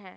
হ্যা